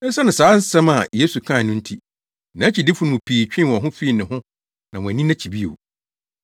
Esiane saa nsɛm a Yesu kae no nti, nʼakyidifo no mu pii twee wɔn ho fii ne ho na wɔanni nʼakyi bio.